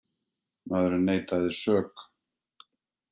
Maðurinn neitaði sök